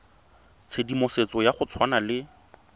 tshedimosetso ya go tshwana le